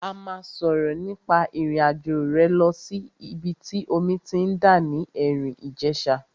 A máa sọ̀rọ̀ nípa ìrìn àjò rẹ lọ sí ìbi tí omi ti ń dà ní Erin Ijesa.